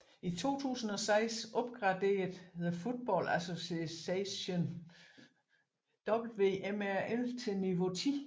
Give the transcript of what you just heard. I 2006 opgraderede the Football Association WMRL til niveau 10